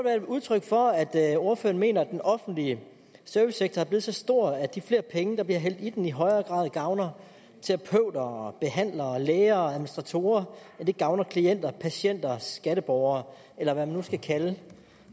udtryk for at at ordføreren mener at den offentlige servicesektor er blevet så stor at de flere penge der bliver hældt i den i højere grad gavner terapeuter og behandlere og læger og administratorer end det gavner klienter patienter og skatteborgere eller hvad man nu skal kalde